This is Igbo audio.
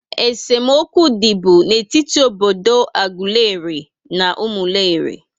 É se mokwu dị bú n'etiti obodo Aguleri na Umuleri